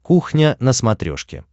кухня на смотрешке